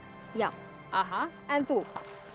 já en þú